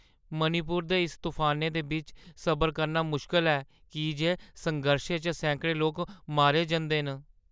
मणिपुर दे इस तफानै दे बिच्च सबर करना मुश्कल ऐ, की जे संघर्शै च सैकड़ें लोक मारे जंदे न।